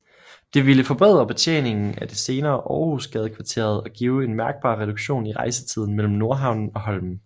Det ville forbedre betjeningen af det senere Århusgadekvarteret og give en mærkbar reduktion i rejsetiden mellem Nordhavnen og Holmen